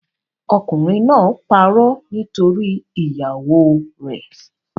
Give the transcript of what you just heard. Okùnrin náà parọ́ nítorí ìyàwóo rẹ̀.